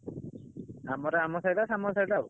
ଆମର ଆମ ସାହି ଟା ସାମଲ ସାହି ଟା ଆଉ।